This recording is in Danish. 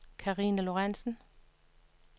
Carina Lorenzen